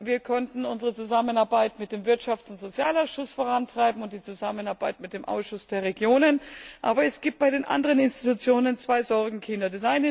Wir konnten unsere Zusammenarbeit mit dem Wirtschafts und Sozialausschuss vorantreiben und die Zusammenarbeit mit dem Ausschuss der Regionen, aber es gibt bei den anderen Institutionen zwei Sorgenkinder.